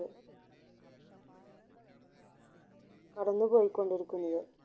കടന്നു പോയിക്കൊണ്ടിരിക്കുന്നത്